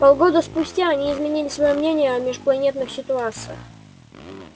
полгода спустя они изменили своё мнение о межпланетных ситуациях